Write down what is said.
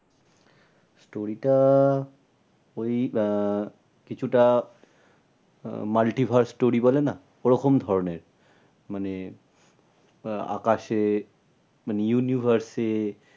Story টা ওই আহ কিছুটা আহ multiverse story বলে না ওরকম ধরণের। মানে আহ আকাশে মানে universe এ,